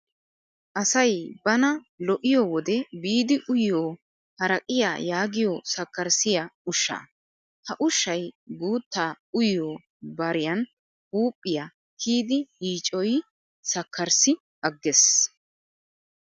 Asayi bana lo'iyoo wode biidi uyiyoo haraqiyaa yaagiyoo sakkarissiyaa ushshaa. Ha ushayi guuttaa uyo bariyan huuphiyaa kiyidi yiicoyi sakkarissi agges.